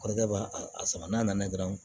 Kɔrɔkɛ b'a a sama n'a nana dɔrɔn